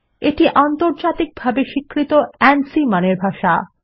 এটা আন্তর্জাতিকভাবে স্বীকৃত আনসি মানের ভাষা